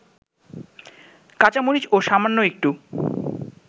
কাঁচামরিচ ও সামান্য একটু